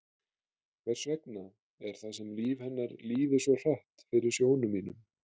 Hvers vegna er það sem líf hennar líði svo hratt fyrir sjónum mínum?